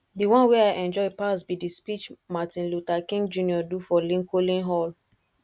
the one wey i enjoy pass be the speech martin luther king jr do for lincoln hall